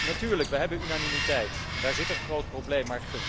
Natuurlijk, we hebben unanimiteit, en daar zit een groot probleem.